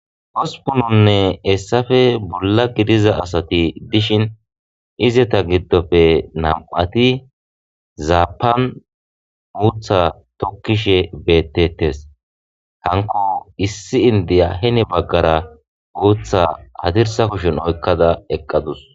Ospununne hesappe bolla gidiza asati dishin Izeta gidope nam'ati zapan utha tokishe beetetes hanko issi indiya heni bagara utha hadirsa kushen oykada eqadus